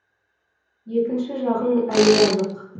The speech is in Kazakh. екінші жағың әлі жазық